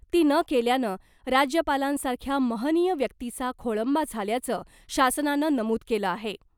ती न केल्यानं राज्यपालांसारख्या महनीय व्यक्तीचा खोळंबा झाल्याचं शासनानं नमूद केलं आहे .